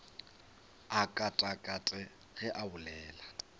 a katakate ge a bolela